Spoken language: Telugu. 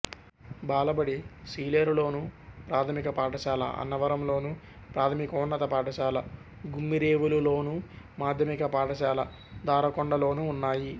బాలబడి సీలేరులోను ప్రాథమిక పాఠశాల అన్నవరంలోను ప్రాథమికోన్నత పాఠశాల గుమ్మిరేవులులోను మాధ్యమిక పాఠశాల దారకొండలోనూ ఉన్నాయి